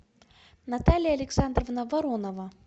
наталья александровна воронова